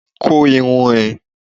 Kó irun ẹ!